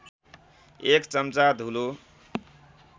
एक चम्चा धुलो